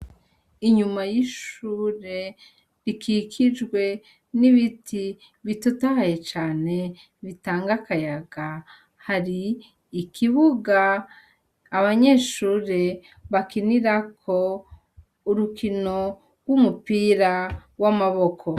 Inyuma y'ishure rikikijwe n'ibiti bitotahaye cane bitanga akayaga hari ikibuga abanyeshure bakinirako urukino rw'umupira w'amaboko.